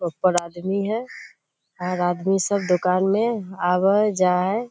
ऊपर आदमी हैं और आदमी सब दुकान मैं आवा हई जा हई।